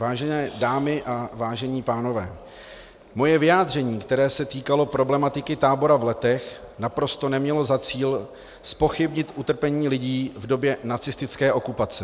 Vážené dámy a vážení pánové, moje vyjádření, které se týkalo problematiky tábora v Letech, naprosto nemělo za cíl zpochybnit utrpení lidí v době nacistické okupace.